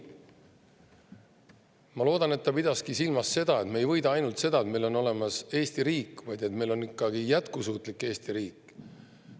Ma loodan, et ta pidaski silmas, et me ei võida ainult seda, et meil on olemas Eesti riik, vaid et meil on ikkagi jätkusuutlik Eesti riik.